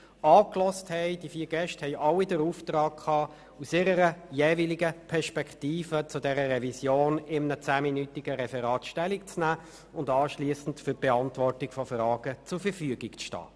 Diese hatten den Auftrag, in einem zehnminütigen Referat aus der jeweiligen Perspektive Stellung zu dieser Revision zu nehmen und anschliessend für die Beantwortung von Fragen zur Verfügung zu stehen.